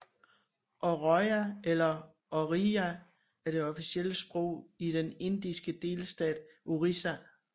Oriya eller orija er det officielle sprog i den indiske delstat Orissa